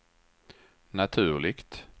naturligt